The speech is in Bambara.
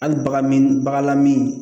Hali bagan min baganlamin